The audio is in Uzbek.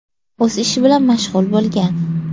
o‘z ishi bilan mashg‘ul bo‘lgan.